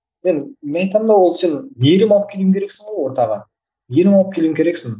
мен мен айтамын да ол сен мейірім алып алу керексің ғой ортаға мейірім алып келу керексің